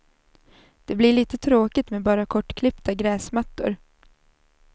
Det blir lite tråkigt med bara kortklippta gräsmattor.